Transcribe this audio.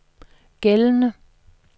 gældende